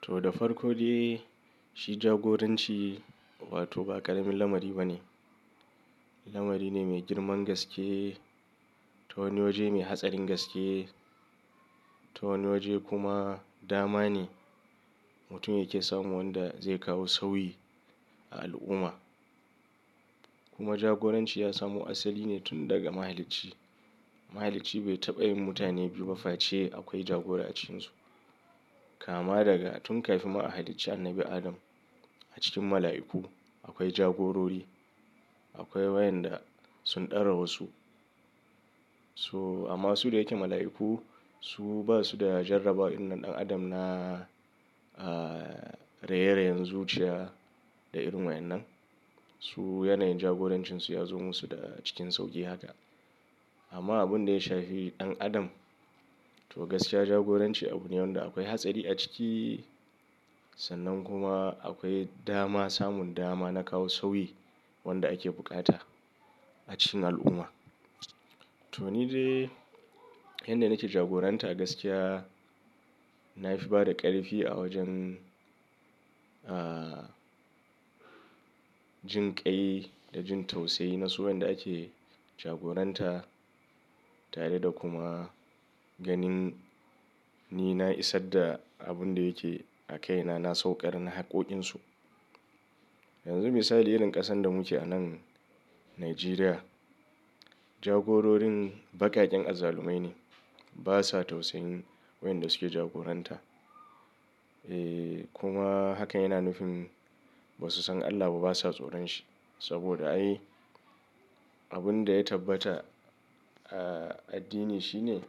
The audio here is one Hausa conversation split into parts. To, da farko dai, shi jagoranci wato ba ƙaramin lamari ba ne. Lamari ne mai girman gaske, ta wani waje mai hatsarin gaske, ta wani waje kuma dama ne. Mutum yake samu wanda zai kawo sauyi a al'umma. Kuma jagoranci ya samo asali ne tun daga mahalicci. Mahalicci bai taɓa yin mutane biyu ba face akwai jagora a cikinsu. Kama daga tun kafin ma a halicci annabi Adam a cikin mala'iku akwai jagorori, akwai waƴanda sun ɗara wasu. So amma su da yake mala'iku su basu da jarrabawa irin na ɗan adam na, a, raye-rayen zuciya da irin waƴannan. Su yanayin jagorancinsu ya zo musu da, cikin sauƙi haka. Amma abinda ya shafi ɗan adam, to gaskiya jagoranci abune wanda akwai hatsari a ciki, sannan kuma akwai dama, samun dama na kawo sauyi wanda ake buƙata a cikin al'umma. To ni dai inda nake jagoranta gaskiya nafi bada ƙarfi a wajen, a, jinƙai da jin tausayi na su wanda ake jagoranta tare da kuma ganin ni na isar da abin da yake a kaina na sauƙar na haƙƙoƙinsu. Yanzu misali irin ƙasan da muke a nan Nijeriya, jagororin baƙaƙen azzalumai ne. Basa tausayin waƴanda suke jagoranta. E, kuma hakan yana nufin basu san Allah ba, basa tsoron shi. Sabida ai abinda ya tabbata a addini shine,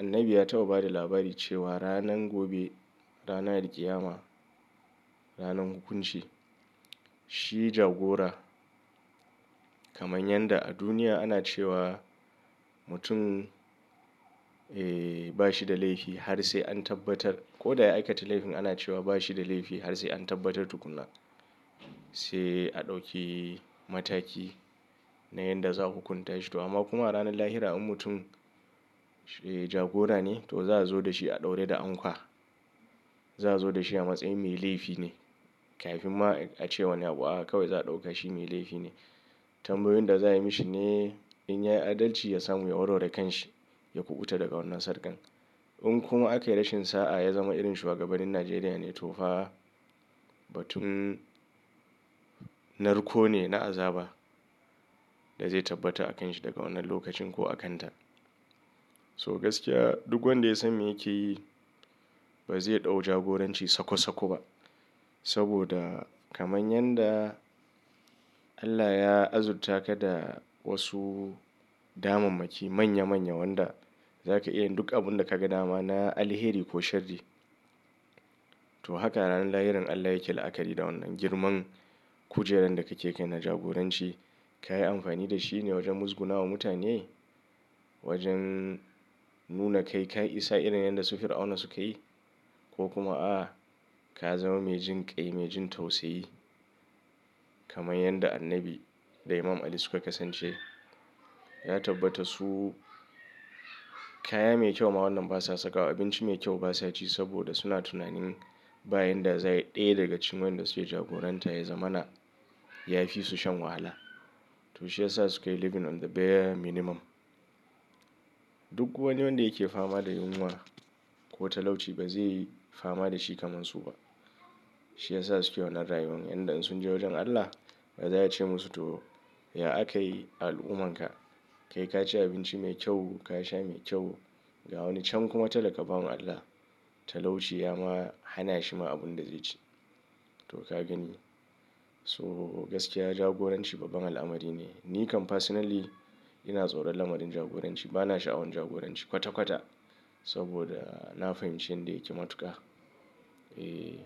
annabi ya taɓa bada labari cewa ranan gobe, ranan alƙiyama, ranan hukunci, shi jagora. Kamar yanda a duniya ana cewa, mutum, e, bashi da laifi har sai an tabbatar ko da ya aikata laifin ana cewa bashi da laifi har sai an tabbatar tukunna. Sai a ɗauki mataki na yanda za a hukunta shi. To amma kuma a ranan lahira in mutum, e, jagora ne to za a zo da shi a ɗaura da ankwa. Za a zo da shi a matsayin mai laifi ne kafin ma a ce wani abu a, kawai za a ɗauka shi mai laifi ne. Tambayoyin da za ayi mishi ne in yayi adalci ya samu ya warware kanshi, ya kuɓuta daga wannan sarƙan. In kuma aka yi rashin sa'a ya zama irin shuwagabannin Nijeriya ne, to fa, batun narko ne na azaba da zai tabbata a kanshi daga wannan lokacin ko a kanta. So gaskiya duk wanda ya san me yake yi ba zai ɗau jagoranci sako-sako ba. Sabida kamar yanda Allah ya azurta ka da wasu damammaki manya-manya wanda zaka iya yin duk abunda kaga dama na alheri ko shari. To haka ranar lahiran Allah yake la'akari da wannan. Girman kujeran da kake kai na jagoranci, kayi amfani da shi ne wajen muzguna wa mutane? Wajen nuna kai, ka isa irin yanda su Fir'auna suka yi? Ko kuma a'a, ka zama mai jin ƙai, mai jin tausayi kamar yanda annabi da Imam Ali suka kasance. Ya tabbata su, kaya mai kyau ma wannan basa sakawa, abinci mai kyau basa ci sabida suna tunanin bayan da za ayi ɗaya daga cikin waƴanda suke jagoranta ya zamana yafi su shan wahala. To shi yasa sukayi ""living on the bare minimum"". Duk wani wanda yake fama da yunwa ko talauci ba zai yi fama da shi kamar su ba. Shi yasa suke wannan rayuwar. Inda in sun je wajen Allah ba za a ce musu to "ya akayi al'ummanka?" Kai kaci abinci mai kyau, ka sha mai kyau ga wani can kuma talaka bawan Allah. Talauci ya ma hana shi ma abin da zai ci. To ka gani. So gaskiya jagoranci babban al'amari ne. Ni kam personally, ina tsoron lamarin jagoranci. Bana sha'awan jagoranci kwata-kwata sabida na fahimci inda yake matuƙa. E,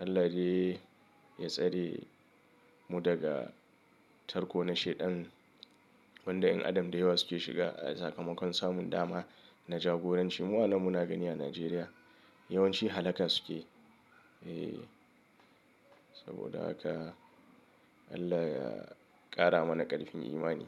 Allah dai ya tsare mu daga tarko na shaidan wanda ƴan Adam da yawa suke shiga a sakamakon samun dama na jagoranci. Mu anan muna gani a Nijeriya, yawanci halaka suke yi. E, sabida haka Allah ya ƙara mana ƙarfin imani.